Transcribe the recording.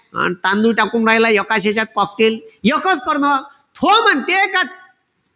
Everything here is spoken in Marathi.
तांदूळ टाकून राहिला, एकाच यांच्यात cocktail एकच कर ना. तो म्हणते का,